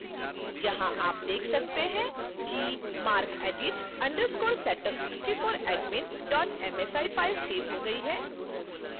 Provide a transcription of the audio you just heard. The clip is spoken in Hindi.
यहां आप देख सकते हैं कि macredit _ setup64admin msi file save हो गई है